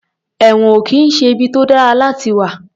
Ẹ̀wọ̀n ò kì í ṣe ibi tó dára láti wà.